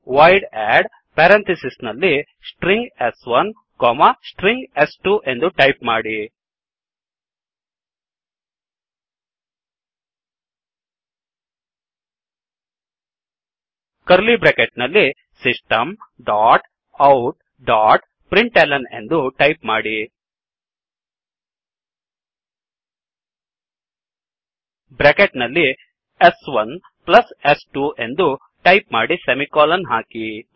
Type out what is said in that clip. void add string s1ಸ್ಟ್ರಿಂಗ್ ಸ್2 ಎಂದು ಟೈಪ್ ಮಾಡಿ ಕರ್ಲೀ ಬ್ರ್ಯಾಕೆಟ್ ನಲ್ಲಿ system dot out dot println ಎಂದು ಟೈಪ್ ಮಾಡಿ ಬ್ರ್ಯಾಕೆಟ್ ನಲ್ಲಿ s1ಸ್2 ಎಂದು ಟೈಪ್ ಮಾಡಿ ಸೆಮಿಕೋಲನ್ ಹಾಕಿ